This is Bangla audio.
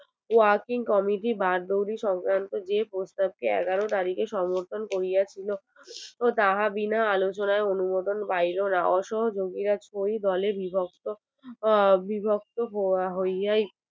working comity বার দৌলি সংক্রান্ত যে প্রস্তাব টি এগারো তারিখটা সমর্থন করিয়াছিল তাহার বিনা আলোচনায় অনুমোদন পাইলো না অসযোগিরা দোলে বিভক্ত ও অবিভক্ত হইয়াই